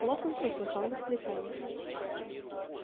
локонс услыхал восклицание